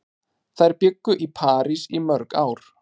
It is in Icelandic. Þær bjuggu í París í mörg ár.